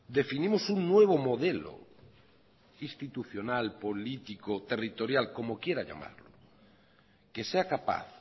definimos un nuevo modelo institucional político territorial como quiera llamarlo que sea capaz